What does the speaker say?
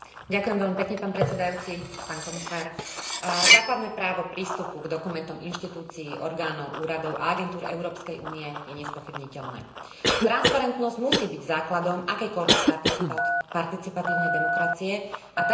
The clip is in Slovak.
Základné právo k prístupu k dokumentom inštitúcií, orgánov, úradov a agentúr Európskej únie je nespochybniteľné. Transparentnosť musí byť základom akejkoľvek participatívnej demokracie a tá by mala zastupiteľskú demokraciu v ideálnom prípade dopĺňať.